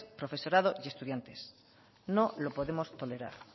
profesorado y estudiantes no lo podemos tolerar